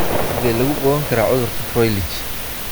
Sidee lagu ogaan karaa cudurka Froelich?